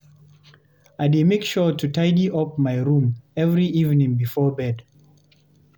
I dey make sure to tidy up my room every evening before bed.